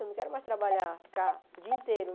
Eu não quero mais trabalhar, ficar o dia inteiro.